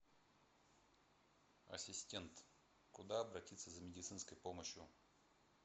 ассистент куда обратиться за медицинской помощью